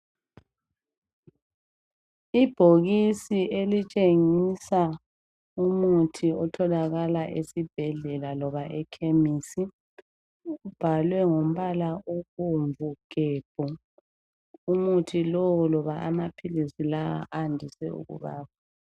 Ibhokisi elitshengisa ibhokisi elitshengisela umuthi otholakala esibhendlela loba ekhemisi kubhalwe ngombala obomvu gembu umuthi lo loba aphilisi lawa adise ukubaba.